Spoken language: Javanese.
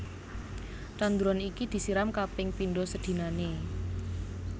Tanduran iki disiram kaping pindho sedinané